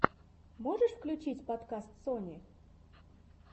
можешь включить подкаст сони